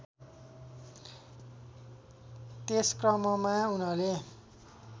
त्यसक्रममा उनले